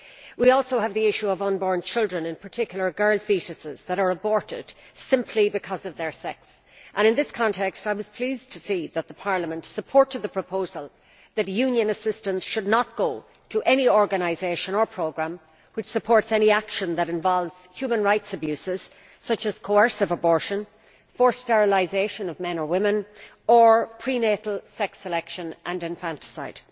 We also have the issue of unborn children, and in particular girl foetuses which are aborted simply because of their sex. In this context I was pleased to see that Parliament supported the proposal that Union assistance should not go to any organisation or programme which supports any action that involves human rights abuses such as coercive abortion, forced sterilisation of men or women, or prenatal sex selection and infanticide.